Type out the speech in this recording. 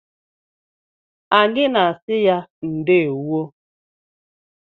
Anyị na adị ya ndewo.